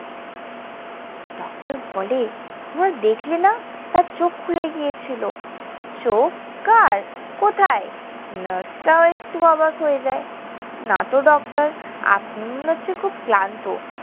Doctor বলে, তোমরা দেখলে না তার চোখ খুলে গিয়েছিল। চোখ, কার? কোথায়? নার্সটাও একটু অবাক হয়ে যায়। নাতো ডক্টর। আপনি মনে হচ্ছে খুব ক্লান্ত।